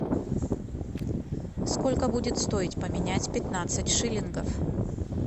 сколько будет стоить поменять пятнадцать шиллингов